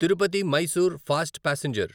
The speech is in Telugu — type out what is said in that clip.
Tirupati Mysore fast passenger